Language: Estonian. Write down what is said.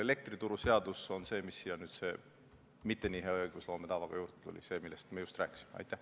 Elektrituruseadus on see, mis sellesse eelnõusse nüüd mitte nii head õigusloome tava järgides juurde tuli – see, millest me just rääkisime.